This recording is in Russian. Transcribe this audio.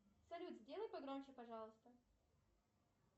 салют сделай погромче пожалуйста